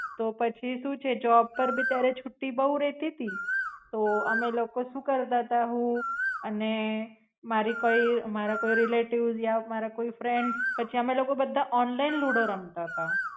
તો પછી શું છે જોબ પર આપડે ત્યારે છુટ્ટી બવ રેતી તી તો અમે લોકો શું કરતા તા હું અને મારી કોઈ મારા કોઈ રેલેટીવેશ યા મારા કોઈ ફ્રેંડ્સ પછી અમે લોકો બધા ઓનલાઇન લુડો રમતા હતા.